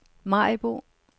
Maribo